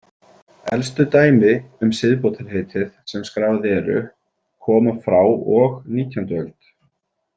Elstu dæmi um siðbótarheitið sem skráð eru koma frá og nítjánda öld.